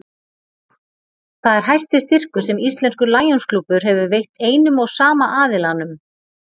Það er hæsti styrkur sem íslenskur Lionsklúbbur hefur veitt einum og sama aðilanum.